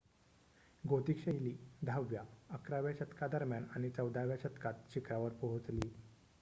Gothic शैली 10 व्या - 11 व्या शतकादरम्यान आणि 14 व्या शतकात शीखरावर पोहोचली